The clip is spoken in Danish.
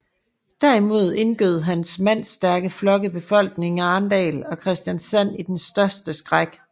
Derimod indgød hans mandstærke flokke befolkningen i Arendal og Kristiansand den største skræk